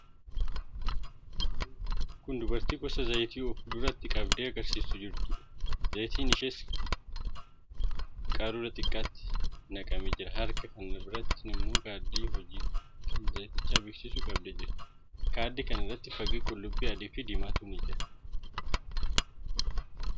Kun dubartii gosa zayitii of duratti qabdee agarsiisaa jirtuudha. Zayitii isheen qabdee jirtu qaruuraa xiqqaatti naqamee jira. Harka kan biraatti immoo kaardii hojii kan zayiticha beeksisu qabdee jirti. Kaardii kana irra fakkii qullubbii adiifi diimaatu jira.